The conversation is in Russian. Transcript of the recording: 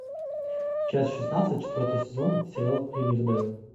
часть шестнадцать четвертый сезон сериал ривердейл